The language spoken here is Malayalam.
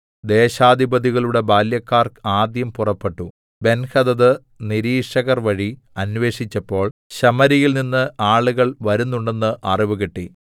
ദേശാധിപതികളുടെ ബാല്യക്കാർ ആദ്യം പുറപ്പെട്ടു ബെൻഹദദ് നിരീക്ഷകർ വഴി അന്വേഷിച്ചപ്പോൾ ശമര്യയിൽനിന്ന് ആളുകൾ വരുന്നുണ്ടെന്ന് അറിവ് കിട്ടി